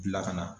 Bila kana